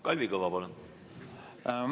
Kalvi Kõva, palun!